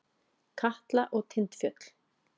Katla og Tindfjöll.